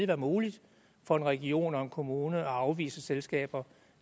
være muligt for en region og en kommune at afvise selskaber